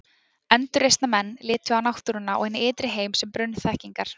endurreisnarmenn litu á náttúruna og hinn ytri heim sem brunn þekkingar